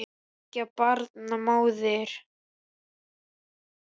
Þriggja barna móðir.